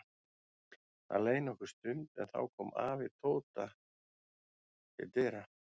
Það leið nokkur stund en þá kom afi Tóta til dyra.